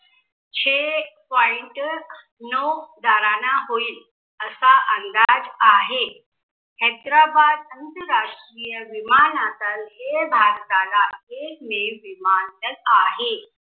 छे Point नौ दाराना होईल, असा अंदाज आहे. हैदराबाद अंतराष्ट्रीय विमानासारखे भारताला एकमेव विमानतळ आहे.